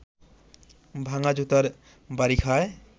ভাঙা জুতার বাড়ি খায়